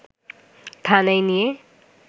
থানায় নিয়ে